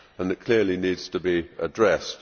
It clearly needs to be addressed.